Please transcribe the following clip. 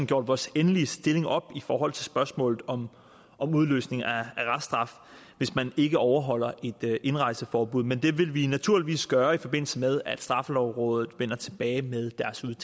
gjort vores endelige stilling op i forhold til spørgsmålet om om udløsning af reststraf hvis man ikke overholder et indrejseforbud men det vil vi naturligvis gøre i forbindelse med at straffelovrådet vender tilbage med